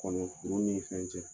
Nɛgɛ sirilaw ni fɛn cɛ